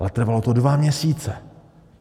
Ale trvalo to dva měsíce.